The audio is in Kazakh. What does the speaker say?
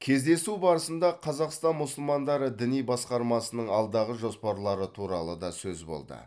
кездесу барысында қазақстан мұсылмандары діни басқармасының алдағы жоспарлары туралы да сөз болды